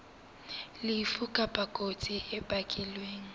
lefu kapa kotsi e bakilweng